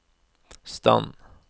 stand